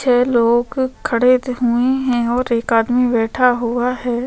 छै लोग खड़े हुए हैं और एक आदमी बैठा हुआ है।